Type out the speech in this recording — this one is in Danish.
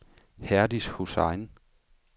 Herdis Hussain